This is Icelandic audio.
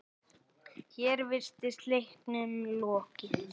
Hér virtist leiknum lokið.